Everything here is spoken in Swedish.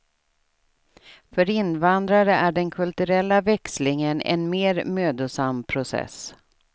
För invandrare är den kulturella växlingen en mer mödosam process.